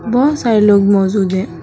बहोत सारे लोग मौजूद है।